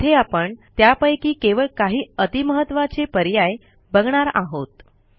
येथे आपण त्यापैकी केवळ काही अति महत्त्वाचे पर्याय बघणार आहोत